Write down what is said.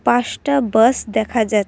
পাঁচটা বাস দেখা যা--